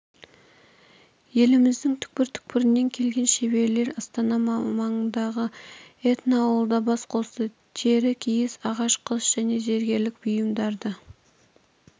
еліміздің түкпір-түкпірінен келген шеберлер астана маңындағы этноауылда бас қосты тері киіз ағаш қыш және зергерлік бұйымдарды